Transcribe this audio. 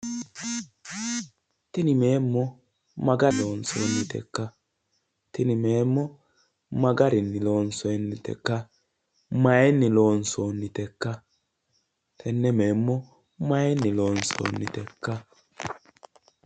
Tini meemmo ma gari loonsoonnite ikka? Tini meemmo ma garinni loonsoonnite ikka? Mayinni loonsoonnite ikka? Tenne meemmo mayinni loonsoonnite ikka?